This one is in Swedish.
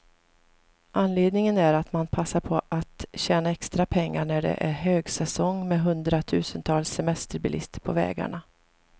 Anledningen är att man passar på att tjäna extra pengar, när det är högsäsong med hundratusentals semesterbilister på vägarna.